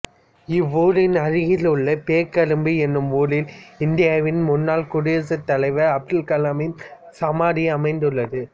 இவ்வூரின் அருகில் உள்ள பேக்கரும்பு எனும் ஊரில் இந்தியாவின் முன்னாள் குடியரசுத்தலைவர் அப்துல் கலாமின் சமாதி அமைந்துள்ளது